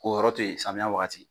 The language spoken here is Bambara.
Ko yɔrɔ to yen samiya wagati